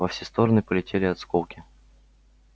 во все стороны полетели осколки